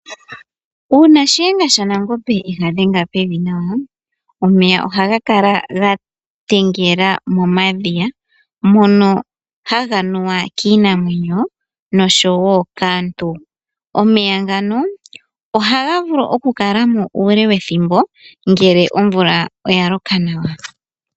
Uuna shihenga sha Nangombe ega dhenga pevi nawa, omeya ohaga kala ga tengela momadhiya mono haga nuwa kiinamwenyo noshowo kaantu, omeya ngano ohaga vulu oku kala mo uule wethimbo ngele omvula oya loka nawa.